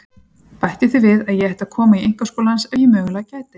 Bætti því við að ég ætti að koma í einkaskóla hans ef ég mögulega gæti.